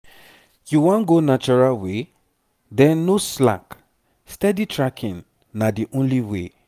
you wan go natural way? then no slack steady tracking na the only way.